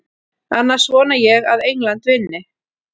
Annars vona ég að England vinni.